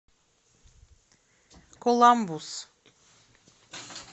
коламбус